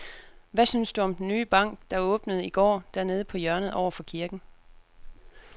Hvad synes du om den nye bank, der åbnede i går dernede på hjørnet over for kirken?